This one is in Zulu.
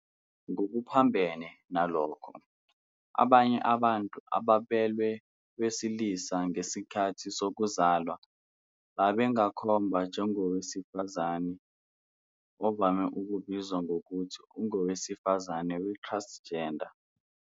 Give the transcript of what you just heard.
Ngokuphambene nalokho, abanye abantu ababelwe owesilisa ngesikhathi sokuzalwa bangakhomba njengowesifazane, ovame ukubizwa ngokuthi ungowesifazane we-transgender.